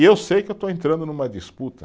E eu sei que eu estou entrando em uma disputa.